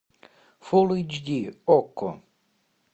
фул эйч ди окко